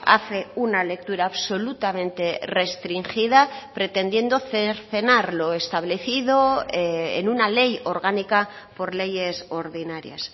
hace una lectura absolutamente restringida pretendiendo cercenar lo establecido en una ley orgánica por leyes ordinarias